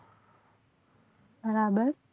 બરાબર